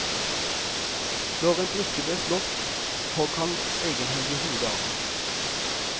Når en brikke ble slått, hogg han egenhendig hodet av den.